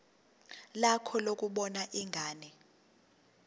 lakho lokubona ingane